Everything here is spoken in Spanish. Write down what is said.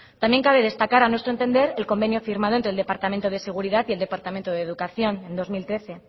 también cabe destacar a nuestro entender el convenio firmado entre el departamento de seguridad y el departamento de educación en dos mil trece